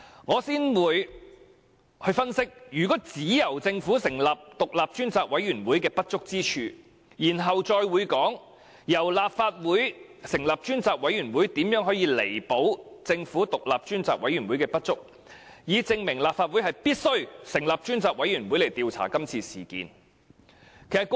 我會先分析只由政府成立獨立調查委員會的不足之處，然後再談談由立法會成立專責委員會如何可彌補政府獨立調查委員會的不足，以證明立法會必須成立專責委員會調查今次事件。